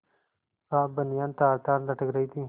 साफ बनियान तारतार लटक रही थी